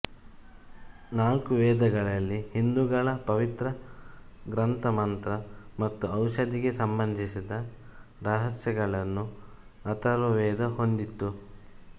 ನಾಲ್ಕು ವೇದಗಳಲ್ಲಿಹಿಂದುಗಳ ಪವಿತ್ರ ಗ್ರಂಥಮಂತ್ರ ಮತ್ತು ಔಷಧಿಗೆ ಸಂಬಂಧಿಸಿದ ರಹಸ್ಯಗಳನ್ನು ಅಥರ್ವ ವೇದ ಹೊಂದಿತ್ತು